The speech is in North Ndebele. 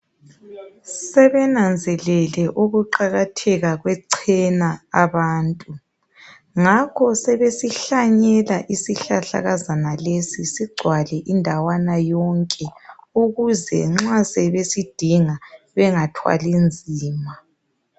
Sebenanzelele ukuqakatheka kwechena abantu ngakho sebesihlanyela isihlahlakazana lesi sigcwale indawana yonke ukuze nxa sebesidinga bengathwali nzima.